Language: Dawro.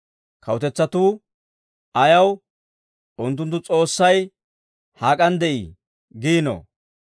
Kawutetsatuu ayaw, «Unttunttu S'oossay hak'an de'ii?» giinoo?